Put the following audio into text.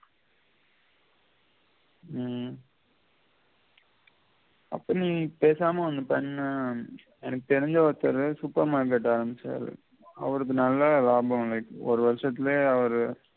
உம் அப்ப நீ பேசாம ஒன்னு பன்னு எனக்கு தெரிஞ்ச ஒருத்தரு supermarket ஆரம்பிச்சாரு அவருக்கு நல்லா லாபம் கிடைக்குது ஒரு வருஷத்திலே அவரு